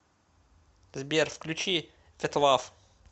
сбер включи ветлав